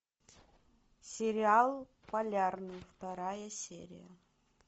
сериал полярный вторая серия